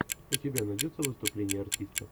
у тебя найдется выступление артистов